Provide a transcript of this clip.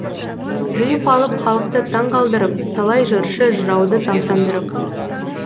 жиып алып халықты таңқалдырып талай жыршы жырауды тамсандырып